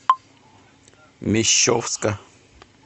мещовска